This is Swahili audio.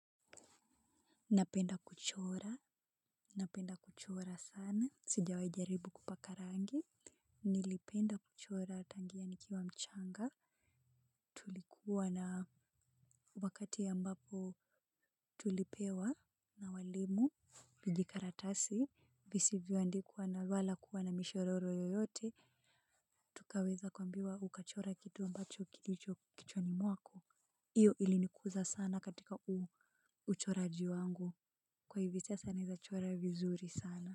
Napenda kuchora. Napenda kuchora sana. Sijawai jaribu kupaka rangi. Nilipenda kuchora tangia nikiwa mchanga. Tulikuwa na wakati ambapo tulipewa na walimu. Viji karatasi, visivyo andikwa na wala kuwa na mishororo yoyote, tukaweza kuambiwa ukachore kitu ambacho kilicho kichwani mwako, iyo ilinikuza sana katika uchoraji wangu, kwa hivi sasa naeza chora vizuri sana.